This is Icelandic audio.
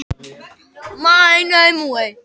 Strandveiðar hækka sjómannaafslátt